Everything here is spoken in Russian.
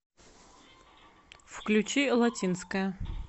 включи латинская